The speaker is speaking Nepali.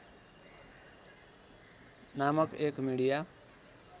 नामक एक मिडिया